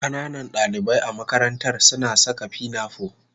Ƙananan dalibai a makarantar suna saka pinafore